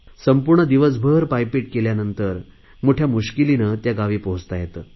संपूर्ण दिवसभर पायपीट केल्यानंतर मोठया मुश्किलिने त्या गावी पोहचता येते